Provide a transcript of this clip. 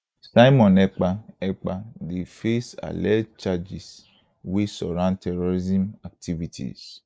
simon ekpa ekpa dey face alleged charges wey surround terrorism activities